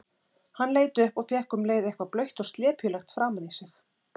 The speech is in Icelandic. Hann leit upp og fékk um leið eitthvað blautt og slepjulegt framan í sig.